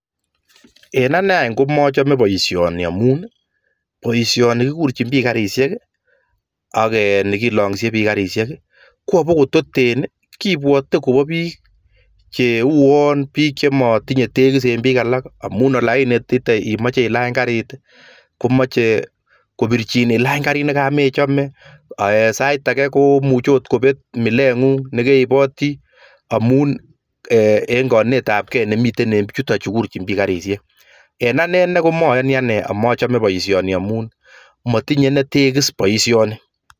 En ane any komachame boisioni amun boisioni kikurchin biik karisiek ak ne kilanyisei biik karsiek koobototen, kibwaten kobo biik cheuon biik chematinyei tekis en biik alak amun ainitite imache ilany kariit komachei ilany kariit nekemechomei, sait age akot kopet milengung neke ipoti amun kainetabgee nemitei en biichutochu kurchin biik karisiek, en anee komayanii ane amachomei boisioni amun matinyei tekis boisioni.